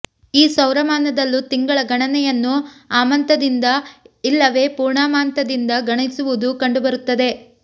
ಈ ಸೌರಮಾನದಲ್ಲೂ ತಿಂಗಳ ಗಣನೆಯನ್ನು ಅಮಾಂತದಿಂದ ಇಲ್ಲವೇ ಪೂರ್ಣಮಾಂತದಿಂದ ಗಣಿಸುವುದು ಕಂಡುಬರುತ್ತದೆ